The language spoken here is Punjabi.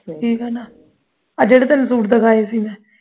ਠੀਕ ਆ ਨਾ ਉਹ ਜੁੜੇ ਤੁਹਾਨੂੰ ਸੂਟ ਦਿਖਾਏ ਸੀ ਗੇ ਮੈਂ